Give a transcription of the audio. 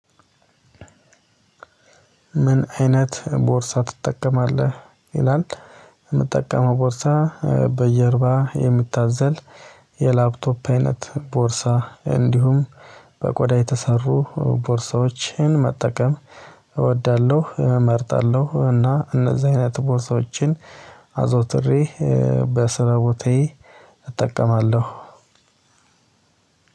ምን? አይነት ቦርሳ ትጠቀማለህ ይላል። የምጠቀመው ቦርሳ በጀርባ የሚታዘል የላፕቶፕ አይነት ቦርሳ እንዲሁም በቆዳ የተሰሩ ቦርሳዎችን መጠቀም እወዳለሁ። እመርጣለሁ እና እነዚህ አይነት ቦርሳዎችን አዘውትሬ በስራ ቦታዬ እጠቀማለሁ።